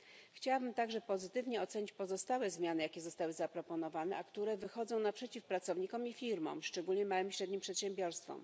Chciałabym także pozytywnie ocenić pozostałe zmiany, jakie zostały zaproponowane, a które wychodzą naprzeciw pracownikom i firmom, szczególnie małym i średnim przedsiębiorstwom.